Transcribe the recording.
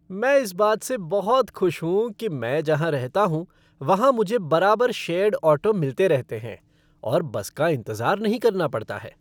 मैं इस बात से बहुत खुश हूँ कि मैं जहाँ रहता हूँ वहाँ मुझे बराबर शेयर्ड ऑटो मिलते रहते हैं और बस का इंतजार नहीं करना पड़ता है।